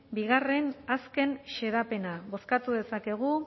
hamaseigarrena artikulua bozkatu dezakegu